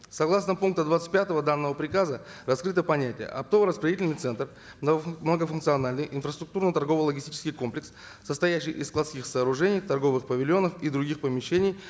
согласно пункта двадцать пятого данного приказа раскрыто понятие оптово распределительный центр многофункциональный инфраструктурный торгово логистический комплекс состоящий из складских сооружений торговых павильонов и других помещений